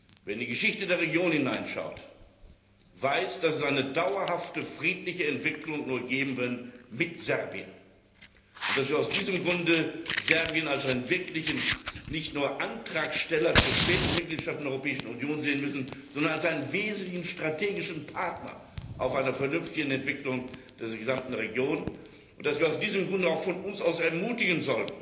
Wer in die Geschichte der Region hineinschaut, weiß, dass es eine dauerhafte friedliche Entwicklung nur mit Serbien geben kann und dass wir aus diesem Grunde Serbien nicht nur als Antragsteller zur späteren Mitgliedschaft in der Europäischen Union sehen müssen, sondern als einen wesentlichen strategischen Partner bei einer vernünftigen Entwicklung dieser gesamten Region und dass wir aus diesem Grunde auch von uns aus ermutigen